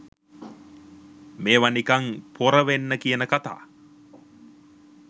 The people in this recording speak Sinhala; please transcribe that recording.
මේව නිකං පොර වෙන්න කියන කතා